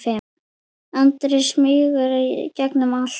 Andri: Smýgur í gegnum allt?